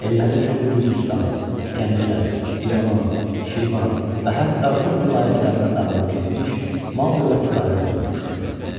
Ellərin çoxu Gürcüstan, Gəncə, İrəvan, Şirvan və hətta Rum vilayətlərinə dağılıb getmiş, mal-dövləti qarət olunmuşdu.